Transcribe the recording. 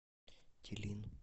телин